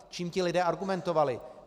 Čím ti lidé argumentovali?